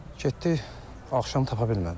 Getdik axşam tapa bilmədik.